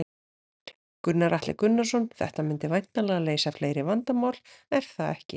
Gunnar Atli Gunnarsson: Þetta myndi væntanlega leysa fleiri vandamál, er það ekki?